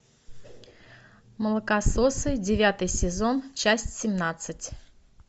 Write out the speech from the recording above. молокососы девятый сезон часть семнадцать